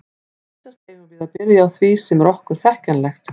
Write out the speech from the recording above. Vísast eigum við að byrja á því sem er okkur þekkjanlegt.